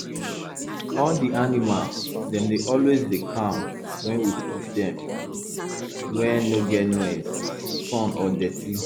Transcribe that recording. all di animals dem dey always dey calm wen we put dem wey no get noise sun or dirty